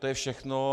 To je všechno.